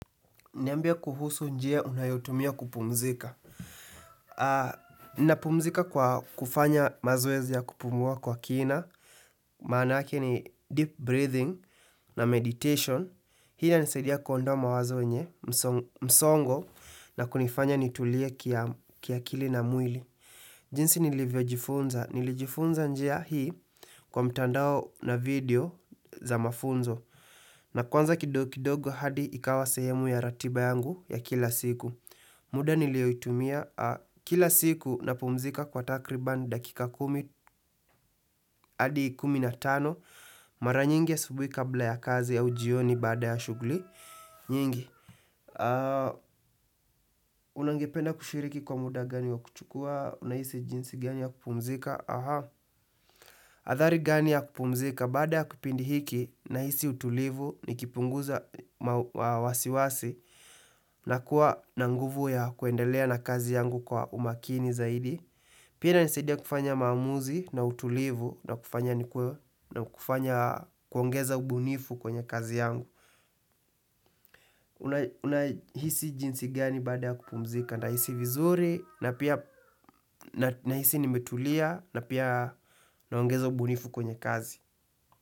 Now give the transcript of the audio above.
Niambie kuhusu njia unayotumia kupumzika. A, ninapumzika kwa kufanya mazoezi ya kupumua kwa kina. Maanake ni deep breathing na meditation. Hii inanisadia kuondoa mawazo yenye, msongo, na kunifanya nitulie kiakili na mwili. Jinsi nilivyo jifunza. Nilijifunza njia hii kwa mtandao na video za mafunzo. Na kwanza kidogo hadi ikawa sehemu ya ratiba yangu ya kila siku. Muda niliyoitumia kila siku napumzika kwa takriban dakika kumi adi kumi na tano. Mara nyingi asubuhi kabla ya kazi ya jioni baada ya shuguli nyingi. Unangependa kushiriki kwa muda gani wa kuchukua unahisi jinsi gani ya kupumzika? Hathari gani ya kupumzika baada ya kupindi hiki nahisi utulivu nikipunguza wasiwasi na kuwa na nguvu ya kuendelea na kazi yangu kwa umakini zaidi. Pia inanisadia kufanya maamuzi na utulivu na kufanya nikuwe na kufanya kuongeza ubunifu kwenye kazi yangu. Unahisi jinsi gani baada ya kupumzika nahisi vizuri nahisi nimetulia na pia naongeza ubunifu kwenye kazi.